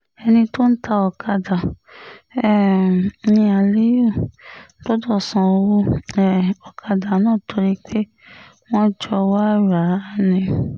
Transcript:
ẹni tó ń ta ọ̀kadà um ní aliyu gbọ́dọ̀ san owó um ọ̀kadà náà torí pé wọ́n jọ wàá rà á ni